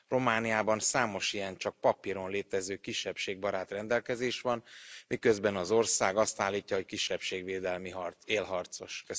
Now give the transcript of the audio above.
Romániában számos ilyen csak papíron létező kisebbségbarát rendelkezés van, miközben az ország azt állítja, hogy a kisebbségvédelmi harc élharcosa.